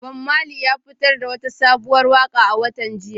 Bob Marley ya fitar da wata sabuwar waka a watan jiya.